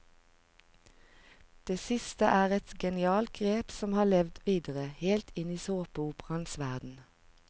Det siste er et genialt grep som har levd videre, helt inn i såpeoperaenes verden.